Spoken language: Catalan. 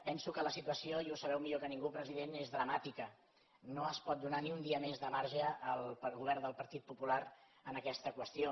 penso que la situació i ho sabeu millor que ningú president és dramàtica no es pot donar ni un dia més de marge al govern del partit popular en aquesta qüestió